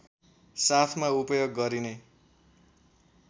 साथमा उपयोग गरिने